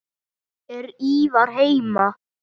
Er Ívar heima?